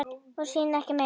Og síðan ekki meir?